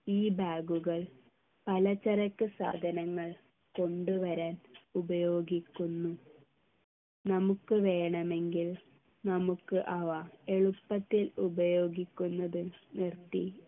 ഈ bag കൾ പലചരക്ക് സാധനങ്ങൾ കൊണ്ടുവരാൻ ഉപയോഗിക്കുന്നു നമുക്ക് വേണമെങ്കിൽ നമുക്ക് അവ എളുപ്പത്തിൽ ഉപയോഗിക്കുന്നത് നിർത്തി